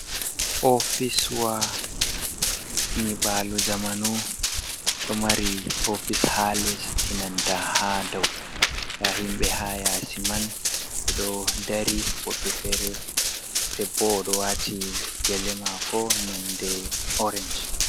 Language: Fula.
Ofiswanya nibalu zamanu. do mari ofis ha les e nanta ha dau. nda himbe ha yasi man be do dari, wobbe fere, debbo o do wati gelle mako nonde oreng.